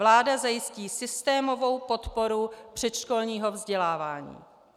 Vláda zajistí systémovou podporu předškolního vzdělávání."